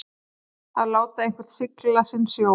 Að láta einhvern sigla sinn sjó